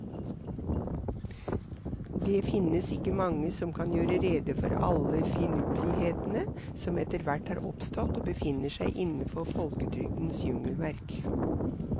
Det finnes ikke mange som kan gjøre rede for alle finurlighetene som etterhvert har oppstått og befinner seg innenfor folketrygdens jungelverk.